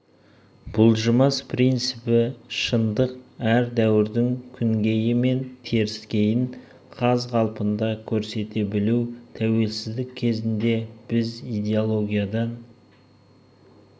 бұлжымас принципі шындық әр дәуірдің күнгейі мен теріскейін қаз қалпында көрсете білу тәуелсіздік кезінде біз идеологиядан